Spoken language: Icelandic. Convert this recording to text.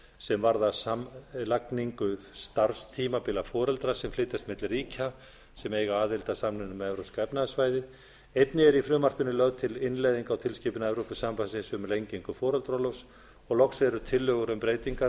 sem varðar samlagningu starfstímabila foreldra sem flytjast milli ríkja sem eiga aðild að samningnum um evrópska efnahagssvæðið einnig er í frumvarpinu lögð til innleiðing á tilskipun evrópusambandsins um lengingu foreldraorlofs loks eru tillögur um breytingar